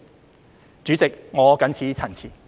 代理主席，我謹此陳辭。